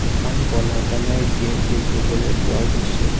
এখন ক'লা colour gate দেখিবলৈ পোৱা গৈছে।